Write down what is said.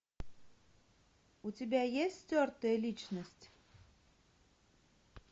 у тебя есть стертая личность